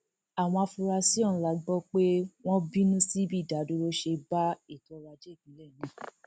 àwọn afurasí ọhún la gbọ pé wọn ń bínú sí bí ìdádúró ṣe bá ètò ọrọajé ìpínlẹ náà